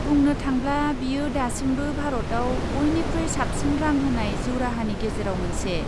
बुंनो थांब्ला, बियो दासिमबो भारतआव बयनिख्रुइ साबसिन रां होनाय जिउ राहानि गेजेराव मोनसे।